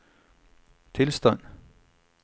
tilstand